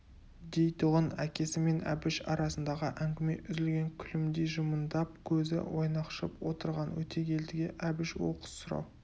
дейтұғын әкесі мен әбіш арасындағы әңгіме үзілген күлімдей жымыңдап көзі ойнақшып отырған өтегелдіге әбіш оқыс сұрау